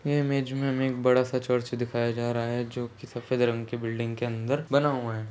यह इमेज में हमें एक बड़ा- सा चर्च दिखाया जा रहा है जोकि सफेद रंग की बिल्डिंग के अंदर बना हुआ है।